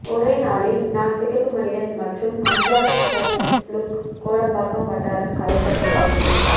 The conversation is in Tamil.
ஒரே நாளிலில் நான் சிகப்பு மனிதன் மற்றும் அஞ்சான் ஃபஸ்ட் லுக் கோடம்பாக்கம் வட்டாரம் கலைகட்டப்போகுது